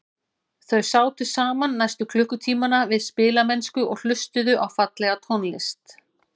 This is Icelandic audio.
Þau sátu saman næstu klukkutímana við spilamennsku og hlustuðu á fallega tónlist.